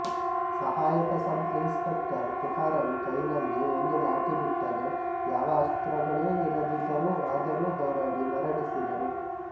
ಸಹಾಯಕ sub inspector Tukaram ಕೈನಲ್ಲಿ ಒಂದು ಲಾಠಿಬಿಟ್ಟರೆ ಯಾವ ಅಸ್ತ್ರಗಳೂ ಇರದಿದ್ದರೂ ಆದರೂ ಹೋರಾಡಿ ಮರಣಿಸಿದರು